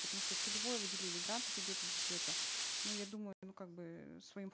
потому что целевое выделение грантов идет из бюджета ну я думаю ну как бы своим